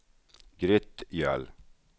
Grytgöl